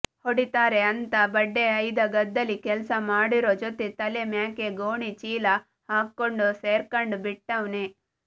ಹೊಡಿತಾರೆ ಅಂತಾ ಬಡ್ಡೆ ಐದ ಗದ್ದೇಲಿ ಕೆಲ್ಸ ಮಾಡೋರು ಜೊತೆ ತಲೆ ಮ್ಯಾಕೆ ಗೋಣಿ ಚೀಲ ಹಾಕ್ಕೊಂಡು ಸೇರ್ಕಂಡ್ ಬಿಟ್ಟಾವ್ನೆ